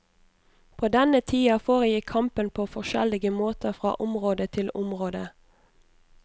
På denne tida foregikk kampen på forskjellige måter fra område til område.